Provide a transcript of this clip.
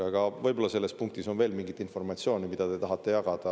Aga võib-olla selles punktis on veel mingit informatsiooni, mida te tahate jagada.